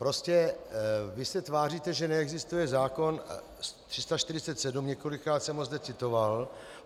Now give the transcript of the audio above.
Prostě vy se tváříte, že neexistuje zákon 347, několikrát jsem ho zde citoval.